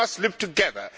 We must live together.